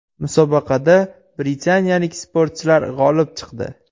Musobaqada britaniyalik sportchilar g‘olib chiqdi.